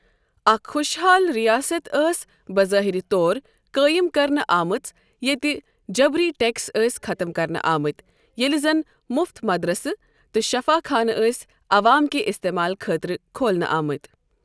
اکھ خۄشحال رِیاست ٲس بظٲہِر طور قٲیم کرنہٕ آمٕژیتہٕ جبری ٹیٚکس ٲسۍ ختم کرنہٕ آمٕتۍ ییٚلہِ زن مُفت مدرسہٕ تہٕ شفاخانہٕ ٲسۍ عوام کہِ اِستعمال خٲطرٕ کھولنہٕ آمٕتۍ۔